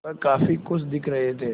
वह काफ़ी खुश दिख रहे थे